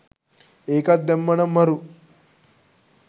ඒකත් දැම්මනම් මරු